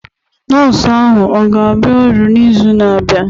Nọọsụ ahụ ọ ga-abịa ọrụ n'izu na-abịa?